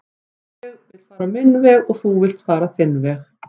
ég vill fara minn veg þú villt fara þinn veg